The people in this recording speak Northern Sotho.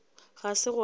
ga se gona ge a